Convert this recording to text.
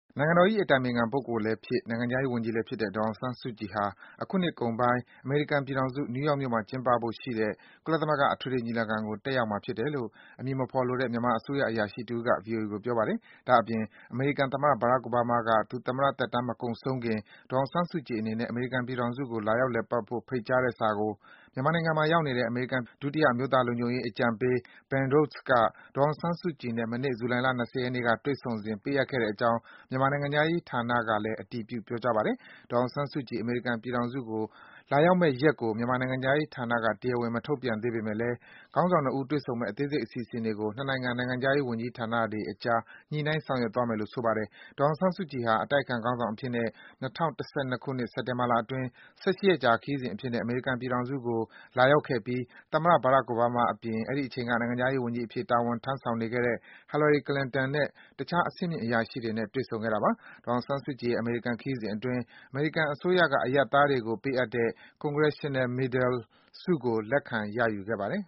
နိုင်ငံတော်၏ အတိုင်ပင်ခံပုဂ္ဂိုလ်လည်းဖြစ်၊ နိုင်ငံခြားရေးဝန်ကြီးလည်းဖြစ်တဲ့ ဒေါ်အောင်ဆန်းစုကြည်ဟာ အခုနှစ်နှစ်ကုန်ပိုင်း အမေရိကန်ပြည်ထောင်စု နယူးယောက်မြို့မှာ ကျင်းပဖို့ရှိတဲ့ ကြိမ်မြောက် ကုလသမဂ္ဂ အထွေထွေညီလာခံကို တက်ရောက်မှာ ဖြစ်တယ်လို့ အမည်မဖော်လိုတဲ့ မြန်မာအစိုးရ အရာရှိတဦးက ဗွီအိုအေကို ပြောပါတယ်။ တချိန်ထဲမှာပဲ အမေရိကန်သမ္မတ Barack Obama ကလည်း သူသမ္မတသက်တမ်း မကုန်ဆုံးခင် ဒေါ်အောင်ဆန်းစုကြည် အနေနဲ့ အမေရိကန်ပြည်ထောင်စုကို လာရောက် လည်ပတ်ဖို့ ဖိတ်ကြားတဲ့စာကို မြန်မာနိုင်ငံမှာ ရောက်နေတဲ့ အမေရိကန် လက်ထောက် အမျိုးသားလုံခြုံရေးအကြံပေး Ben Rhodes က ဒေါ်အောင်ဆန်းစုကြည်နဲ့ မနေ့ ဇူလိုင်လ ၂၀ ရက်နေ့က တွေ့ဆုံစဉ် ပေးအပ်ခဲ့တဲ့အကြောင်း မြန်မာနိုင်ငံခြားရေးဝန်ကြီးဌာနက အတည်ပြု ပြောကြားပါတယ်။ ဒေါ်အောင်ဆန်းစုကြည် အမေရိကန်ပြည်ထောင်စုကို လာရောက်မယ့်ရက်ကို မြန်မာနိုင်ငံခြားရေးဝန်ကြီးဌာနက တရားဝင် ထုတ်ပြန်ခြင်း မရှိသေးပေမယ့် ခေါင်းဆောင် ၂ ဦး တွေ့ဆုံမယ့် အသေးစိတ် အစီအစဉ်တွေကို နှစ်နိုင်ငံ နိုင်ငံခြားရေးဝန်ကြီးဌာနတွေအကြား ညှိနှိုင်း ဆောင်ရွက်သွားမယ်လို့ ဆိုပါတယ်။ ဒေါ်အောင်ဆန်းစုကြည်ဟာ အတိုက်အခံ ခေါင်းဆောင်အဖြစ်နဲ့ ၂၀၁၂ ခုနှစ်၊ စက်တင်ဘာလအတွင်း ၁၈ ရက်ကြာ ခရီးစဉ်အဖြစ်နဲ့ အမေရိကန်ပြည်ထောင်စုကို လာရောက်ခဲ့ပြီး သမ္မတ Barack Obama အပြင် အဲဒီအချိန်က နိုင်ငံခြားရေးဝန်ကြီးအဖြစ် တာဝန်ထမ်းဆောင်နေတဲ့ Hillary Clinton နဲ့ တခြား အဆင်မြင့် အရာရှိတွေနဲ့ တွေ့ဆုံခဲ့တာပါ။ ဒေါ်အောင်ဆန်းစုကြည်ရဲ့ အဲဒီ ခရီးစဉ်အတွင်း Congressional Gold Medal လို့ခေါ်တဲ့ အမေရိကန်အစိုးရက အရပ်သားတွေကို ပေးအပ်တဲ့ အမြင့်ဆုံးဆုကို လက်ခံ ရယူခဲ့ပါတယ်